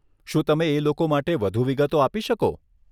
શું તમે એ લોકો માટે વધુ વિગતો આપી શકો?